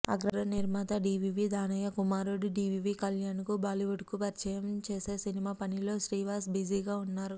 అగ్ర నిర్మాత డీవీవీ దానయ్య కుమారుడు డీవీవీ కళ్యాణ్ను టాలీవుడ్కు పరిచయం చేసే సినిమా పనిలో శ్రీవాస్ బిజీగా ఉన్నారు